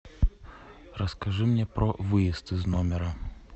расскажи мне про выезд из номера